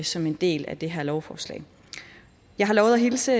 som en del af det her lovforslag jeg har lovet at hilse